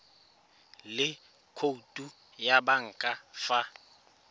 le khoutu ya banka fa